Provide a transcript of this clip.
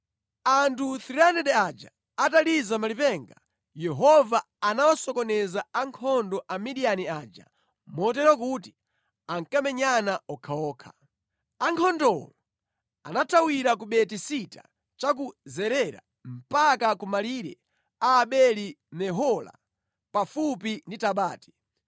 Anthu 300 aja ataliza malipenga, Yehova anawasokoneza ankhondo a Midiyani aja motero kuti ankamenyana okhaokha. Ankhondowo anathawira ku Beti-Sita cha ku Zerera mpaka ku malire a Abeli-Mehola pafupi ndi Tabati.